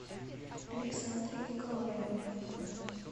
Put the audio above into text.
александрой николаевной